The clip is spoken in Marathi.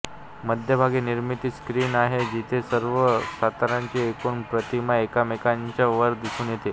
मध्यभागी निर्मिती स्क्रीन आहे जिथे सर्व स्तरांची एकूण प्रतिमा एकमेकांच्या वर दिसून येते